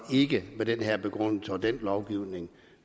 ikke med den her begrundelse og den lovgivning